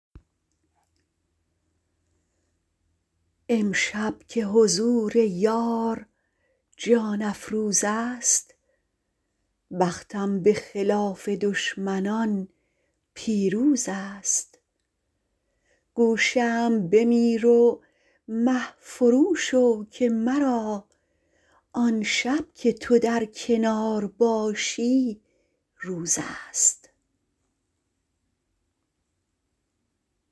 امشب که حضور یار جان افروزست بختم به خلاف دشمنان پیروزست گو شمع بمیر و مه فرو شو که مرا آن شب که تو در کنار باشی روزست